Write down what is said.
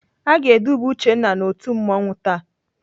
Aga eduba Uchenna n'otu mmanwụ taa.